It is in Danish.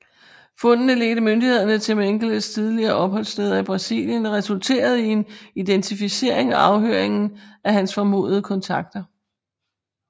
Fundene ledte myndighederne til Mengeles tidligere opholdssteder i Brasilien og resulterede i en identificering og afhøringen af hans formodede kontakter